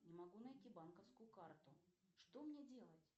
не могу найти банковскую карту что мне делать